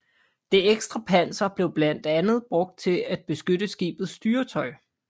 Det ekstra panser blev blandt andet brugt til at beskytte skibets styretøj